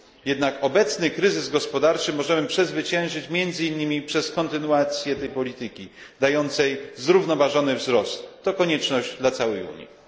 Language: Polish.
Jednak obecny kryzys gospodarczy możemy przezwyciężyć między innymi przez kontynuację tej polityki, dającej zrównoważony wzrost. To konieczność dla całej Unii.